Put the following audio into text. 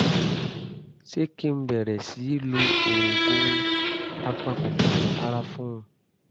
ṣé kí n bẹ̀rẹ̀ sí í lo oògùn apakòkòrò àrùn fún un?